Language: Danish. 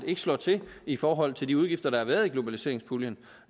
ikke slår til i forhold til de udgifter der har været i globaliseringspuljen